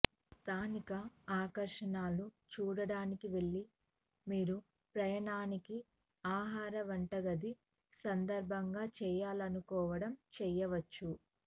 స్థానిక ఆకర్షణలు చూడటానికి వెళ్ళి మీరు ప్రయాణానికి ఆహార వంటగది సందర్భంగా చేయాలనుకోవడం చేయవచ్చు